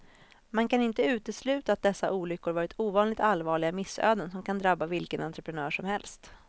Man kan inte utesluta att dessa olyckor varit ovanligt allvarliga missöden som kan drabba vilken entreprenör som helst.